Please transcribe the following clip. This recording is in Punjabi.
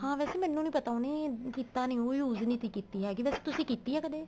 ਹਾਂ ਵੈਸੇ ਮੈਨੂੰ ਨਹੀਂ ਪਤਾ ਉਹਨੇ ਕੀਤਾ ਨਹੀਂ ਉਹ use ਨਹੀਂ ਕੀਤੀ ਹੈਗੀ ਵੈਸੇ ਤੁਸੀਂ ਕੀਤੀ ਹੈਗੀ ਕਦੇਂ